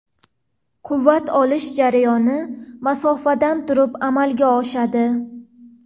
Quvvat olish jarayoni masofadan turib amalga oshadi.